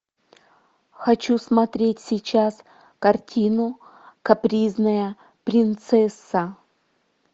хочу смотреть сейчас картину капризная принцесса